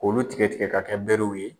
O bi tigɛ tigɛ ka kɛ berew ye.